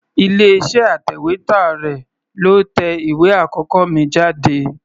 Ilé-iṣẹ́ atẹ̀wétà rẹ̀ ló tẹ ìwé àkọ́kọ́ mi jáde.